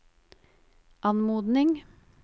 anmodning